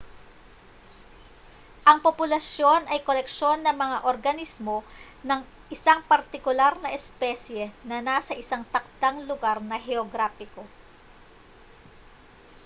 ang populasyon ay koleksyon ng mga organismo ng isang partikular na espesye na nasa isang takdang lugar na heograpiko